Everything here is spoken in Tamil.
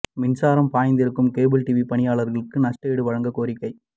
மின்சாரம் பாய்ந்து இறக்கும் கேபிள் டிவி பணியாளா்களுக்கு நஷ்டஈடு வழங்க கோரிக்கை